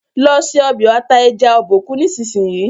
lọ se Ọbẹ̀ ata ẹja Obokun nísìsiyìí!